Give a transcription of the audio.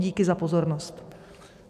Díky za pozornost.